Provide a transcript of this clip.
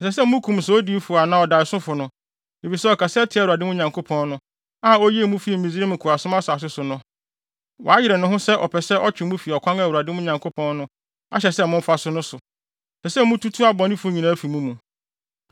Ɛsɛ sɛ wokum saa odiyifo anaa ɔdaesofo no, efisɛ ɔkasa tia Awurade, mo Nyankopɔn no, a oyii mo fii Misraim nkoasom asase no so no; wayere ne ho sɛ ɔpɛ sɛ ɔtwe mo fi ɔkwan a Awurade, mo Nyankopɔn no, ahyɛ sɛ momfa so no so. Ɛsɛ sɛ mututu abɔnefo nyinaa fi mo mu.